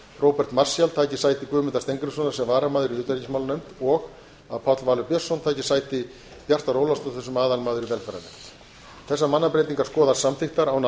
róbert marshall taki sæti guðmundar steingrímssonar sem varamaður í utanríkismálanefnd og að páll valur björnsson taki sæti bjartar ólafsdóttur sem aðalmaður í velferðarnefnd þessar mannabreytingar skoðast samþykktar án